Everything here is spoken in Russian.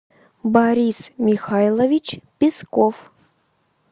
борис михайлович песков